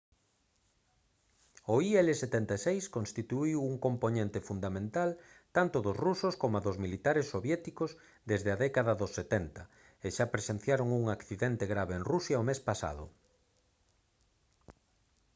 o il-76 constituíu un compoñente fundamental tanto dos rusos coma dos militares soviéticos desde a década dos 70 e xa presenciaron un accidente grave en rusia o mes pasado